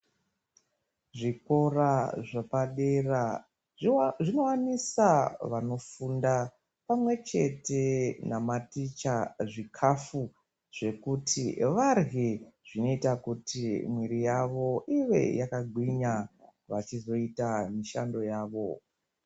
Zvikora zvepadera zvinowanisa vanofunda pamwechete namaticha zvikafu zvekuti varye zvinoita kuti mwiri yavo ive yakagwinya vachizoita mishando yavo.